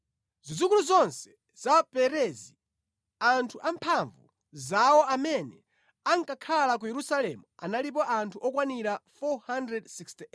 Zidzukulu zonse za Perezi, anthu amphamvu zawo amene ankakhala ku Yerusalemu analipo anthu okwanira 468.